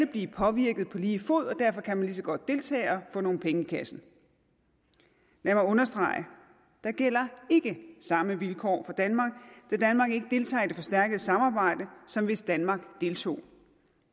blive påvirket på lige fod og derfor kan man lige så godt deltage og få nogle penge i kassen lad mig understrege der gælder ikke de samme vilkår for danmark da danmark ikke deltager i det forstærkede samarbejde som hvis danmark deltog